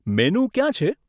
Menu ક્યાં છે?